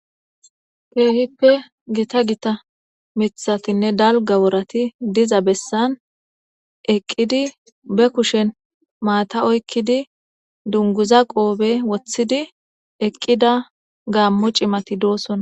Kehipe gita gita mitatinne dalga worati diza besaneqidi be kushen matha oyiqidi dunguza qophe wotidi eqida gamo ci'mati dosona